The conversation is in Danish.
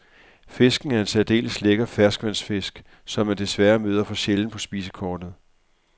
Fisken er en særdeles lækker ferskvandsfisk, som man desværre møder for sjældent på spisekortet.